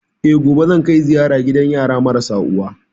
Eh, gobe zan kai ziyara gidan yara marasa uwa